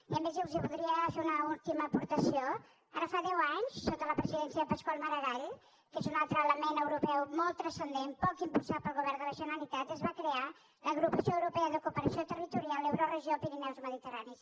i a més els voldria fer una última aportació ara fa deu anys sota la presidència de pasqual maragall que és un altre element europeu molt transcendent poc impulsat pel govern de la generalitat es va crear l’agrupació europea de cooperació territorial euroregió pirineus mediterrània